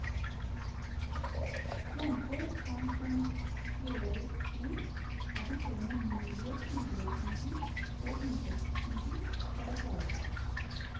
Planter kan konstrueres slik at de trenger mindre ugressmiddel og insektmiddel for å klare seg.